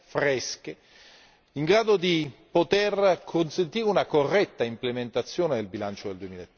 fresche, in grado di poter consentire una corretta implementazione del bilancio del